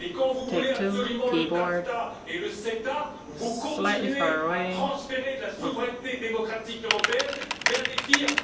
Quand vous voulez absolument le TAFTA et le CETA, vous continuez à transférer de la souveraineté démocratique européenne vers les firmes.